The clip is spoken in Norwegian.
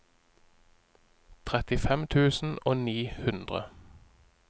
trettifem tusen og ni hundre